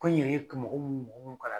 Ko in yɛrɛ ka mɔgɔ mun kala